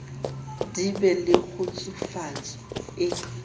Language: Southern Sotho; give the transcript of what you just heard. di be le kgutsufatso e